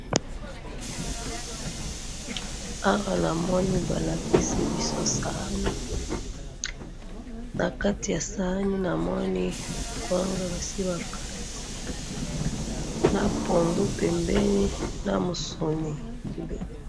Awa namoni balakisi biso saani. Na kati ya saani namoni kwanga basi bakati. Na pondu pembeni, na musone pembeni.